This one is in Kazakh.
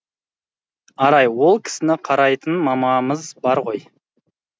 арай ол кісіні қарайтын мамамыз бар ғой